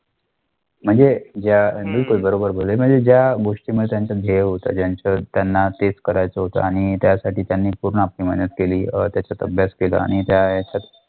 म्हणजे ज्या बिलकुल बरोबर बोलले म्हणजे ज्या गोष्टीमध्ये त्यांच ध्येय होत, ज्याचं त्याना तेच करायचं होत त्यासाठी त्यांनी पूर्ण आपली मेहनत केली, अं त्याचा अभ्यास केला आणि त्या ह्याच्यात